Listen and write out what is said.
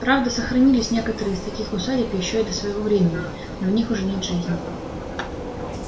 правда сохранились некоторые из таких усадеб ещё и до своего времени но в них уже нет жизни